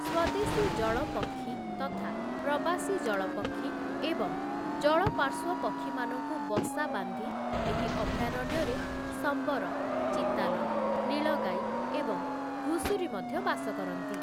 ସ୍ୱଦେଶୀ ଜଳ ପକ୍ଷୀ ତଥା ପ୍ରବାସୀ ଜଳପକ୍ଷୀ ଏବଂ ଜଳପାର୍ଶ୍ୱ ପକ୍ଷୀମାନଙ୍କୁ ବସା ବାନ୍ଧି ଏହି ଅଭୟାରଣ୍ୟରେ ସମ୍ବର, ଚିତାଲ, ନୀଳଗାଇ ଏବଂ ଘୁଷୁରୀ ମଧ୍ୟ ବାସ କରନ୍ତି ।